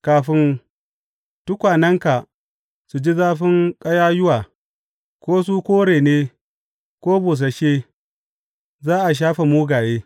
Kafin tukwanenka su ji zafin ƙayayyuwa, ko su kore ne ko busasshe, za a shafe mugaye.